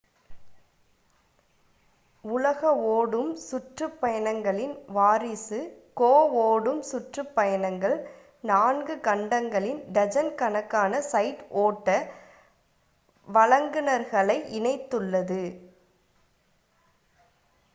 உலக ஓடும் சுற்றுப் பயணங்களின் வாரிசு கோ ஓடும் சுற்றுப் பயணங்கள் நான்கு 4 கண்டங்களில் டஜன் கணக்கான சைட் ஓட்ட வழங்குனர்களை இணைத்துள்ளது